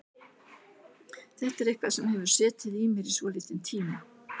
Þetta er eitthvað sem hefur setið í mér í svolítinn tíma.